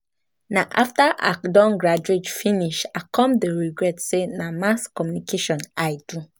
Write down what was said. Na after I don graduate finish I come dey regret um say na Mass Communication I do